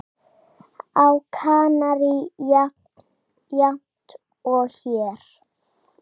Á Kanarí jafnt og hér.